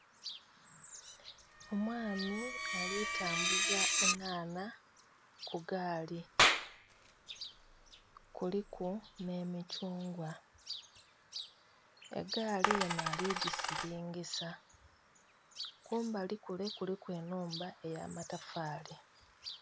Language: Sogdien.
Omwami ali tambuza enhanha ku gaali. Kuliku ne mikyungwa. Egaali enho ali gisilingisa. Kumbali kule kuliku enhumba eya matafaali.